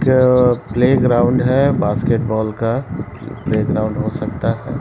एक-क playground है basketball का play playground हो सकता है।